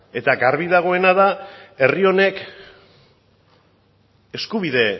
eta garbi dagoena da herri honek eskubide